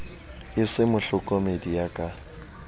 e se mohlokomedi ya ka